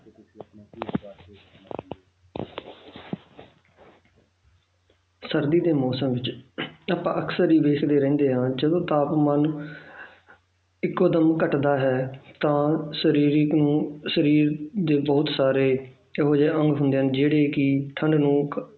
ਸਰਦੀ ਦੇ ਮੌਸਮ ਵਿੱਚ ਆਪਾਂ ਅਕਸਰ ਇਹ ਦੇਖਦੇ ਰਹਿੰਦੇ ਹਾਂ ਜਦੋਂ ਤਾਪਮਾਨ ਇੱਕੋ ਦਮ ਘੱਟਦਾ ਹੈ ਤਾਂ ਸਰੀਰਕ ਨੂੰ ਸਰੀਰ ਦੇ ਬਹੁਤ ਸਾਰੇ ਇਹੋ ਜਿਹੇ ਅੰਗ ਹੁੰਦੇ ਹਨ ਜਿਹੜੇ ਕਿ ਠੰਢ ਨੂੰ